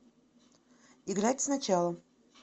играть сначала